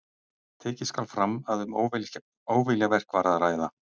Taka skal fram að um óviljaverk var að ræða.